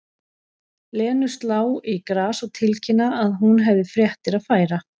Lenu slá í glas og tilkynna að hún hefði fréttir að færa.